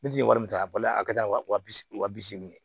Ne bi wari min ta a bali a ka taa wa bi segin